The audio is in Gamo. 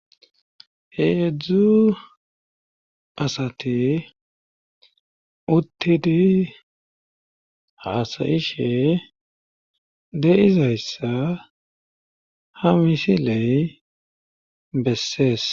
heedzdzu asate uttidi haasayishe de7izayssa ha misiley bessees